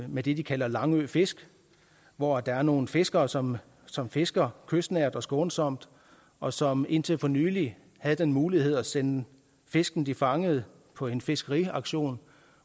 med det de kalder langø fisk hvor der er nogle fiskere som som fisker kystnært og skånsomt og som indtil for nylig havde den mulighed at sende fisken de fangede på en fiskeauktion